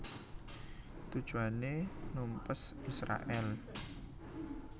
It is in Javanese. Tujuané numpes Israèl